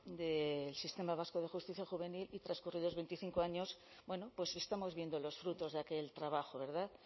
del sistema vasco de justicia juvenil y transcurridos veinticinco años bueno pues estamos viendo los frutos de aquel trabajo verdad